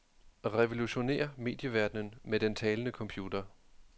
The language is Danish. Revolutionér medieverdenen med den talende computer.